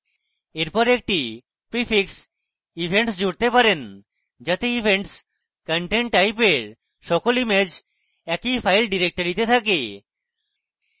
এরপর একটি prefix events জুড়তে পারেন যাতে events content type এর সকল ইমেজ এক file ডিরেক্টরিতে থাকে